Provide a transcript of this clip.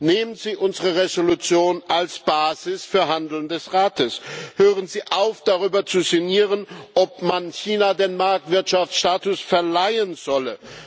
Nehmen Sie unsere Entschließung als Basis für das Handeln des Rates, hören Sie auf, darüber zu sinnieren, ob man China den Marktwirtschaftsstatus verleihen solle!